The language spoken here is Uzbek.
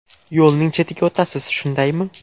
Yo‘lning chetiga o‘tasiz, shundaymi?